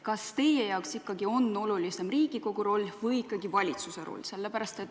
Kas teie jaoks on ikkagi olulisem Riigikogu roll või valitsuse roll?